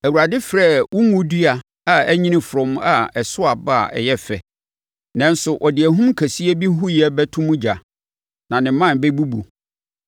Awurade, frɛɛ wo ngo dua a anyini frɔmm a ɛso aba a ɛyɛ fɛ. Nanso ɔde ahum kɛseɛ bi huiɛ bɛto mu ogya, na ne mman bɛbubu.